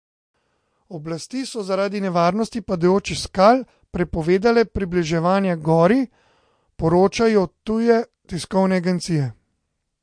Oblasti so zaradi nevarnosti padajočih skal prepovedale približevanje gori, poročajo tuje tiskovne agencije.